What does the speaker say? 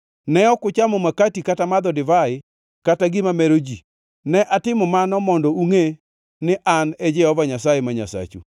Ne ok uchamo makati kata madho divai kata gima mero ji ne atimo mano mondo ungʼe ni An e Jehova Nyasaye ma Nyasachu.